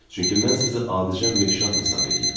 Çünki mən sizi adicə meşşan hesab eləyirəm.